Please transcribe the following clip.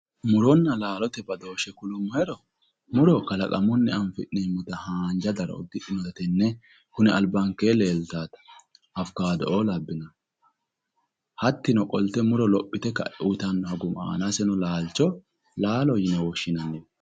Muronna badooshe yinuummoro ,muro kalaqamunni afi'nannitta haanja daro afidhinotta tene kune albaankeni leelittanota awukkaddo labbanotta, hattino qolte muro lophite uyittano laalicho laalo yine woshshinanni.